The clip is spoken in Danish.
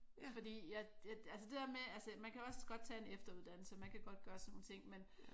Fordi at altså det dér med altså man kan også godt tage en efteruddannelse man kan godt gøre sådan nogle ting men